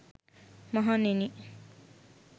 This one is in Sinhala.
මහණෙනි,